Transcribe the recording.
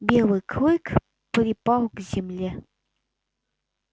белый клык припал к земле